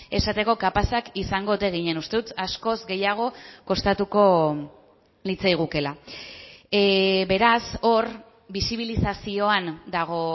esateko kapazak izango ote ginen uste dut askoz gehiago kostatuko litzaigukeela beraz hor bisibilizazioan dago